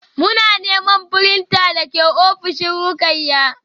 Muna neman printer da ke ofishin Ruqayyah